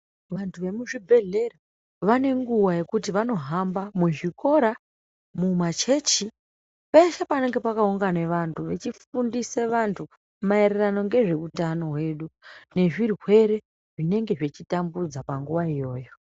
Vantu vemu zvibhedhlera vane nguva yekuti vano hamba mu zvikora mu machechi peshe panenge paka ungana vantu vechi fundisa vantu maererano nezve utano hwedu ne zvirwere zvinenge zvichi tambudza panguva iyoyo.